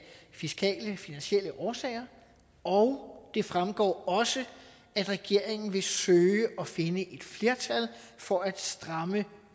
fiskale finansielle årsager og det fremgår også at regeringen vil søge at finde et flertal for at stramme